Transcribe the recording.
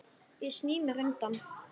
Ég sný mér undan.